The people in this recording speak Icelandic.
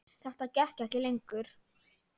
Þetta gekk ekki lengur.